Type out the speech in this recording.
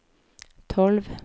tolv